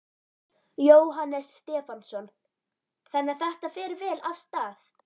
Jóhannes Stefánsson: Þannig að þetta fer vel af stað?